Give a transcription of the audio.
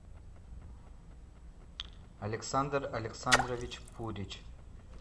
александр александрович пурич